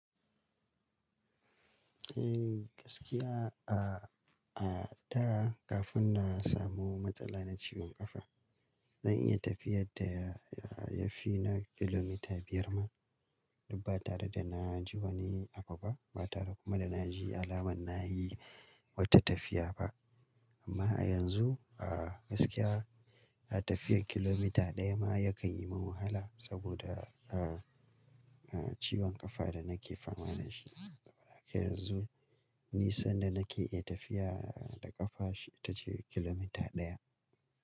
Eh gaskiya a, a da kafin na samu matsala na ciwon kafa, zan iya tafiyar da ya fi na kilomita biyar ma. Dubba tare da na ji wani abu ba, ba tare kuma da na ji alamar na yi wata tafiya ba. Amma yanzu gaskiya tafiyar kilomita ɗaya ma yakan yi min wahala saboda, ah, ah ciwon kafan da nake fama da shi. Yanzu nisan da nake iya tafiya da kafa ita ce kilomita ɗaya.